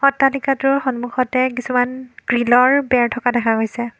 অট্টালিকাটোৰ সন্মুখতে কিছুমান গ্ৰিলৰ বেৰ থকা দেখা গৈছে।